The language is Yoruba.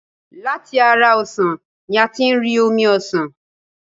Láti ara ọsàn ni a tí ń rí omi ọsàn.